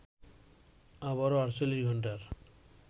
আবারো ৪৮ ঘন্টার